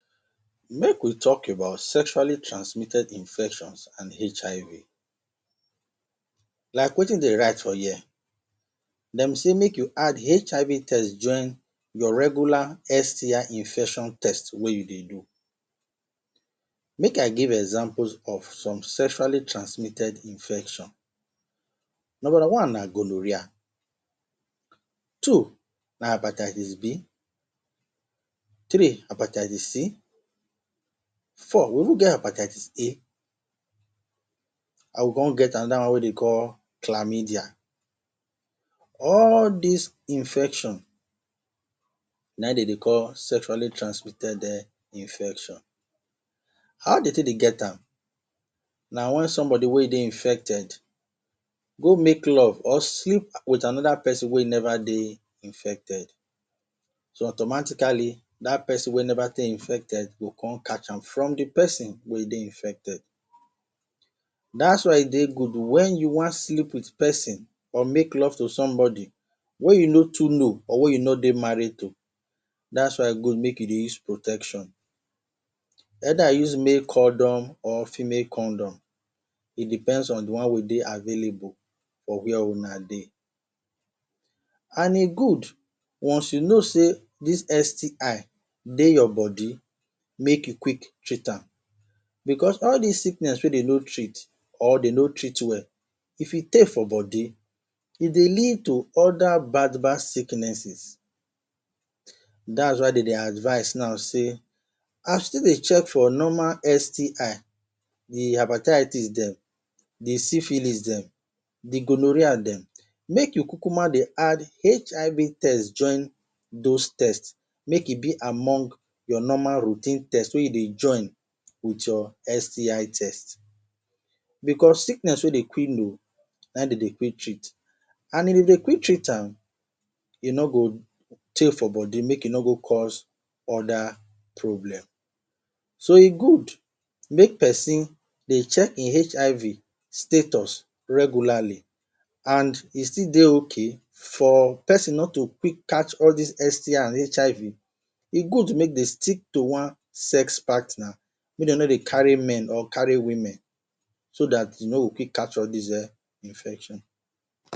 Make we talk about sexually transmitted infection and HIV. Like wetin de write for here, de say make you add HIV test join your regular STI infection test wey you dey do. Make i give examples of some sexually transmitted infection. Number one na gonorrhoea, two na hepatitis B, three hepatitis C. four we even get hepatitis A and we con get anoda one wey de dey call chlamydia. All des infection, na im e dey call sexually transmitted um infection. How de take dey get am? Na wen somebody wey dey infected, go make love or sleep with anoda pesin wey never dey infected. So, automatically, dat pesin wey never dey infected go con catch am from the pesin wey e dey infected. Dat's why e dey good, wen you wan sleep with pesin or make love to somebody wey you no too know or wey you no dey married to, dat is why e good make you dey use protection. Either you use make condom or female condom. E depends on the one wey e dey available for were huna dey. And e good, once you know sey dis STI dey your body, make you quick treat am becos all des sickness wey de no treat or de no treat well, if e tey for body, e dey lead to other bad bad sicknesses. Dat is why de dey advice now sey, as you take dey check for normal STL the hepatitis dem, the syphilis dem, de gonorrhoea dem, make you kukuma dey add HIV test join dos test. MAke e be among your normal routine test wey you dey join with your STI test. Becos sickness wey de quick know, na im de dey quick treat. And if they quick treat am,e no go tey for body. Make e no go cause other problem. So, e good make pesin dey check e HIV status regularly. And e still dey okay for pesin no to quick catch all dis STL and HIV, e good make de stick to one sex partner. Make de no dey carry men or carry women. So dat you no go quick catch all des um infection